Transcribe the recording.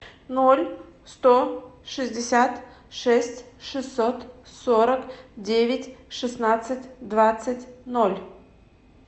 ноль сто шестьдесят шесть шестьсот сорок девять шестнадцать двадцать ноль